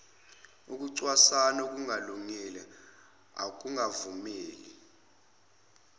ukucwasana okungalungile ukungavumeli